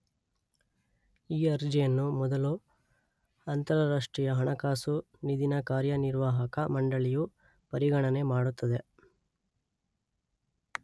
ಈ ಅರ್ಜಿಯನ್ನು ಮೊದಲು ಅಂತರರಾಷ್ಟ್ರೀಯ ಹಣಕಾಸು ನಿಧಿನ ಕಾರ್ಯನಿರ್ವಾಹಕ ಮಂಡಳಿಯು ಪರಿಗಣನೆ ಮಾಡುತ್ತದೆ.